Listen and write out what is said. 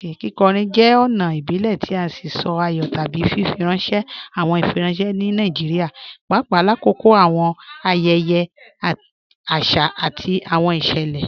Kíkọ̀rín jẹ́ ọ̀na ìbílẹ̀ tì sí sọ̀ àyọ̀ tábí fífirànṣẹ̀ awọn ìfírànṣẹ̀ ní Nàìjíríà, pàpà làkọ̀kọ̀ awọn ayẹyẹ̀ àṣà àti awọn ìṣẹ́lẹ.